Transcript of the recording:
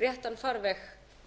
réttan farveg